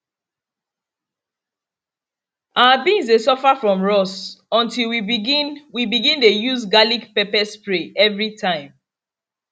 our beans dey suffer from rust until we begin we begin dey use garlicpepper spray everytime